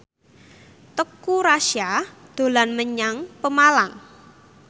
Teuku Rassya dolan menyang Pemalang